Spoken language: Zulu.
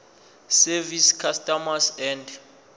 service customs and